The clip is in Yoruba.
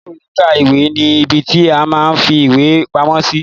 Ilé ìwé kíkà ìwé ni ìbí ti a máa n fí ìwé pamọ́ sí.